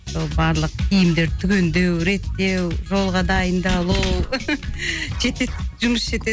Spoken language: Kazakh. сол барлық киімдерді түгендеу реттеу жолға дайындалу жетеді жұмыс жетеді